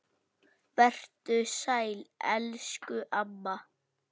Vertu sæl elsku amma.